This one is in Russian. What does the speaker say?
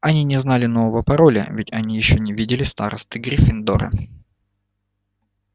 они не знали нового пароля ведь они ещё не видели старосты гриффиндора